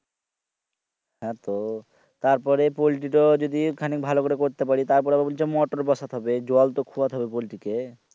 হা তো তার পরে পোল্টি তো যদি খানিক ভালো করে করতে পারি তার পরে আবার বলছে motor বসাত হবে জল তো খুয়াত হবে পোল্টি কে